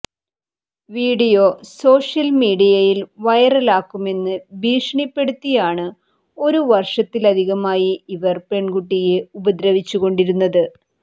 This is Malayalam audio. വീഡിയോ സോഷ്യൽ മീഡിയയിൽ വൈറലാക്കുമെന്ന് ഭീഷണിപ്പെടുത്തിയാണ് ഒരു വർഷത്തിലധികമായി ഇവർ പെൺകുട്ടിയെ ഉപദ്രവിച്ചുകൊണ്ടിരുന്നത്